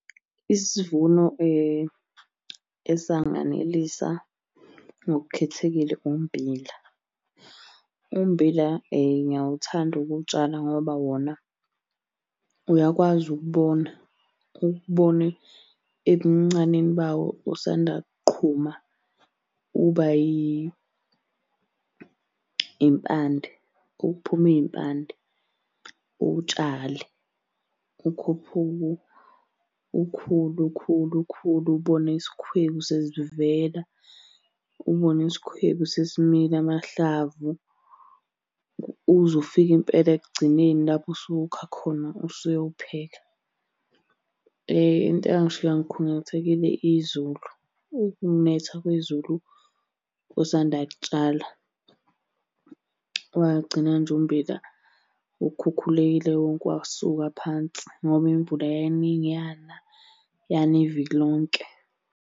Isivuno esanganelisa ngokukhethekile, ummbila. Ummbila ngiyawuthanda ukuwutshala ngoba wona uyakwazi ukubona ukubona ebuncaneni bawo usanda kuqhuma uba yimpande, uphuma iy'mpande. Uwutshale, ukhuphuke, ukhule ukhule ukhule ubone isikhwebu sesivela, ubone isikhwebu sesimila amahlavu. Uze ufike impela ekugcineni lapho usuwukha khona usuyowupheka. Into eyangishiya ngikhungathekile izulu, ukunetha kwezulu usanda kutshala. Wagcina nje ummbila ukhukhulekile wonke wasuka phansi, ngoba imvula yayiningi yana, yana iviki lonke.